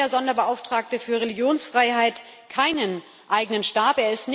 Warum hat der Sonderbeauftragte für Religionsfreiheit keinen eigenen Stab?